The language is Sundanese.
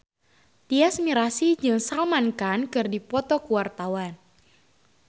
Tyas Mirasih jeung Salman Khan keur dipoto ku wartawan